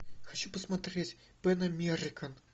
хочу посмотреть пэн американ